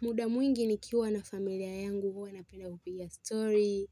Muda mwingi nikiwa na familia yangu huwa napenda kupiga story,